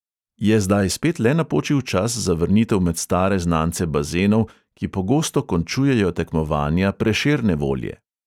Je zdaj spet le napočil čas za vrnitev med stare znance bazenov, ki pogosto končujejo tekmovanja prešerne volje?